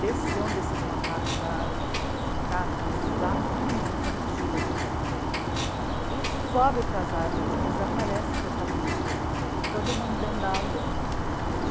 Desceu um desses macacos da árvore, gente, cata exatamente a mochila do Zé, e sobe para as árvores, desaparece com aquela mochila, e todo mundo dentro da água.